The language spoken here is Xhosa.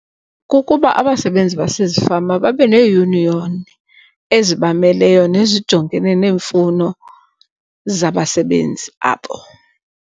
Kukuba abasebenzi basezifama babe neeyuniyoni ezibameleyo nezijongene neemfuno zabasebenzi abo.